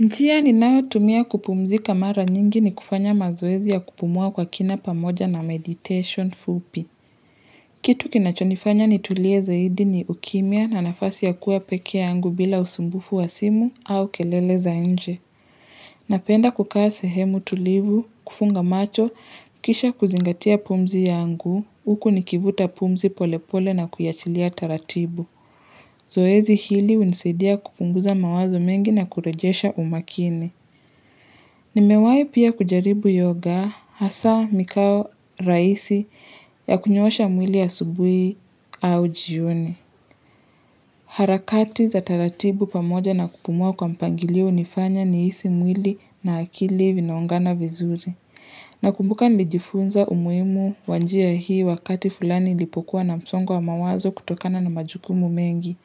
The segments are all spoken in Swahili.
Njia ninao tumia kupumzika mara nyingi ni kufanya mazoezi ya kupumua kwa kina pamoja na meditation fupi. Kitu kinachonifanya nitulie zaidi ni ukimya na nafasi ya kuwa pekee yangu bila usumbufu wa simu au kelele za enje. Napenda kukaa sehemu tulivu, kufunga macho, kisha kuzingatia pumzi yangu, huku nikivuta pumzi polepole na kuyachilia taratibu. Zoezi hili hunisidia kupunguza mawazo mengi na kurejesha umakini. Nimewai pia kujaribu yoga hasa mikao rahisi ya kunyoshaa mwili asubui au jioni. Harakati za taratibu pamoja na kupumua kwa mipangilio hunifanya nihisi mwili na akili vinaungana vizuri. Nakumbuka nilijifunza umuhimu wa nji hii wakati fulani nilipokuwa na msongo wa mawazo kutokana na majukumu mengi.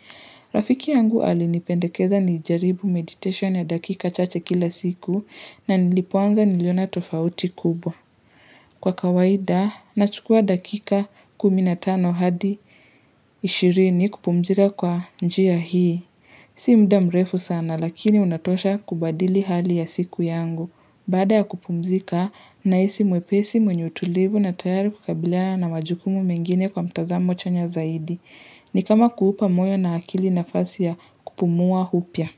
Rafiki yangu alinipendekeza nijaribu meditation ya dakika chache kila siku na nilipoanza niliona tofauti kubwa. Kwa kawaida, nachukua dakika kumi na tano hadi ishirini kupumzika kwa njia hii. Si muda mrefu sana lakini unatosha kubadili hali ya siku yangu. Baada ya kupumzika, nahisi mwepesi mwenye utulivu na tayari kukabilia na majukumu mengine kwa mtazamo chanya zaidi. Ni kama kuupa moyo na akili nafasi ya kupumua hupya.